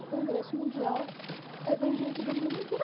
O Congresso Mundial é vem gente do mundo inteiro.